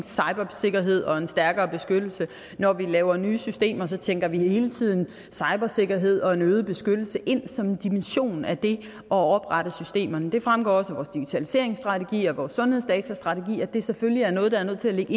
cybersikkerhed og en stærkere beskyttelse når vi laver nye systemer tænker vi hele tiden cybersikkerhed og en øget beskyttelse ind som en dimension af det at oprette systemerne det fremgår også af vores digitaliseringsstrategi og af vores sundhedsdatastrategi at det selvfølgelig er noget der er nødt til at ligge